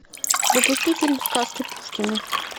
запусти фильм сказки пушкина